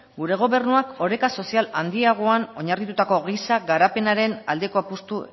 gure gobernua oreka sozial handiagoan oinarritutako giza garapenaren aldeko apustu